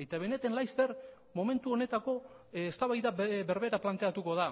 eitb neten laster momentu honetako eztabaida berbera planteatuko da